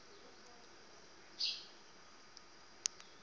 kweyomntsintsi